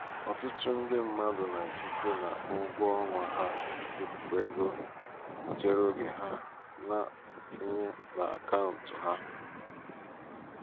ọtụtụ ndị mmadụ na-esite n'ụgwọ ọnwa ha wepụ égo nchereoge ha na-etinye n'akaụtụ ha.